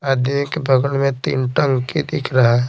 आदि के बगल में तीन टंकी दिख रहा है।